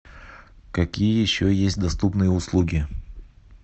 какие еще есть доступные услуги